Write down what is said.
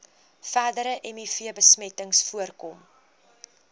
verdere mivbesmetting voorkom